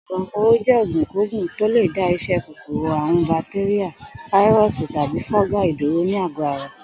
Ògùn apooro jé̩ ògùnkógùn tó lè dá is̩é̩ kòkòrò àrùn batéríà, fáírò̩sì tàbí fó̩gáì dúró ní àgó̩ ara